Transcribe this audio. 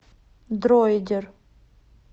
дроидер